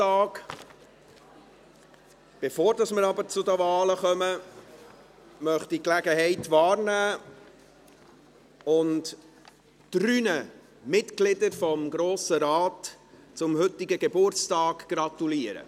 Bevor wir zu den Wahlen kommen, möchte ich die Gelegenheit wahrnehmen und drei Mitgliedern des Grossen Rates zu ihren heutigen Geburtstagen gratulieren.